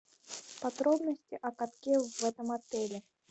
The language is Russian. подробности о катке в этом отеле